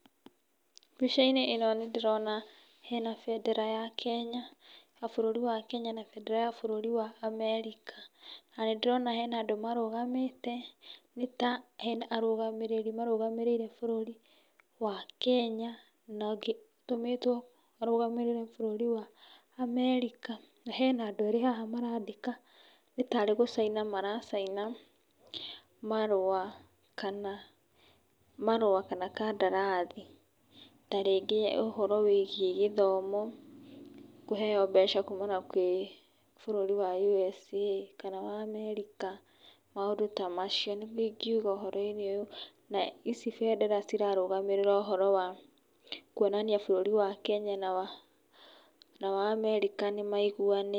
Mbica-inĩ ĩno nĩ ndĩrona hena bendera ya bũrũri wa Kenya na bendera ya bũrũri wa Amerika. Na nĩ ndĩrona hena andũ marũgamite nĩ ta hena arũgamĩrĩri marũgamĩrĩire bũrũri wa Kenya na ũngĩ ũtũmĩtwo arũgamĩrĩre bũrũri wa America. Na hena andũ erĩ haha marandĩka nĩ tarĩ gũcaina maracaina marũa kana marũa kana kandarathi. Ta rĩngĩ ũhoro wĩgiĩ gĩthomo kũheo mbeca kuuma kwĩ bũrũri wa USA kana wa America, maũndũ ta macio. Nĩguo ingiuga ũhoro-inĩ ũyũ. Na ici bendera cirarũgamĩrĩra ũhoro wa kuonania bũrũri wa Kenya na wa America nĩ maiguanĩte.